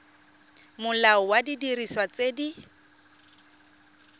molao wa didiriswa tse di